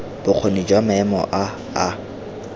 bokgoni jwa maemo a a